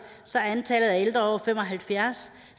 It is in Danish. så er antallet af ældre over fem og halvfjerds